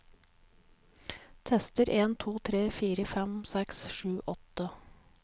Tester en to tre fire fem seks sju åtte